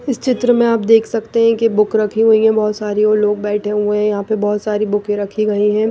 इस चित्र में आप देख सकते हैं कि बुक रखी हुई है बहुत सारी और लोग बैठे हुए हैं यहाँ पे बहुत सारी बुकें रखी गई हैं।